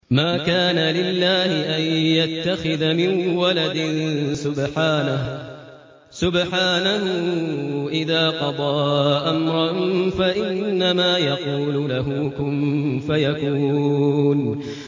مَا كَانَ لِلَّهِ أَن يَتَّخِذَ مِن وَلَدٍ ۖ سُبْحَانَهُ ۚ إِذَا قَضَىٰ أَمْرًا فَإِنَّمَا يَقُولُ لَهُ كُن فَيَكُونُ